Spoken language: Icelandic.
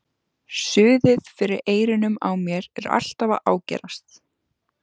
Suðið fyrir eyrunum á mér er alltaf að ágerast.